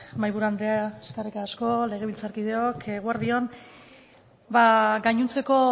mahaiburu andrea eskerrik asko legebiltzarkideok eguerdi on gainontzeko